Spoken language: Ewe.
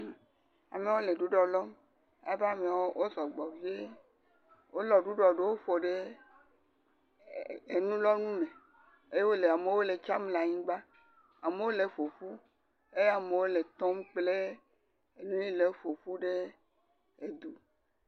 Amewo le ɖuɖɔ lɔm, alebe ameawo sɔgbɔ vie, wolɔ ɖuɖɔ ɖewo ƒo ɖe enulɔnu me, eye amewo le etsiam le anyigba, amewo le eƒoƒum, eye amewo le tɔm kple nu yi le le eƒoƒum ɖe.